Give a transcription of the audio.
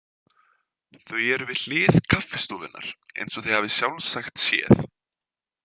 Þau eru við hlið kaffistofunnar eins og þið hafið sjálfsagt séð.